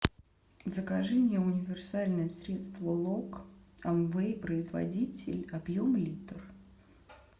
закажи мне универсальное средство лок амвей производитель объем литр